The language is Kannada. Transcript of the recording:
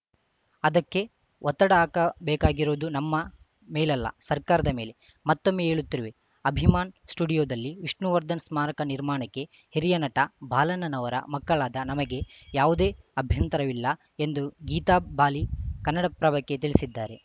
ಅದಕ್ಕೆ ಒತ್ತಡ ಹಾಕಬೇಕಾಗಿರೋದು ನಮ್ಮ ಮೇಲಲ್ಲ ಸರ್ಕಾರದ ಮೇಲೆ ಮತ್ತೊಮ್ಮೆ ಹೇಳುತ್ತಿರುವೆ ಅಭಿಮಾನ್‌ ಸ್ಟುಡಿಯೋದಲ್ಲಿ ವಿಷ್ಣುವರ್ಧನ್‌ ಸ್ಮಾರಕ ನಿರ್ಮಾಣಕ್ಕೆ ಹಿರಿಯ ನಟ ಬಾಲಣ್ಣನವರ ಮಕ್ಕಳಾದ ನಮಗೆ ಯಾವುದೇ ಅಭ್ಯಂತರವಿಲ್ಲ ಎಂದು ಗೀತಾಬಾಲಿ ಕನ್ನಡಪ್ರಭಕ್ಕೆ ತಿಳಿಸಿದ್ದಾರೆ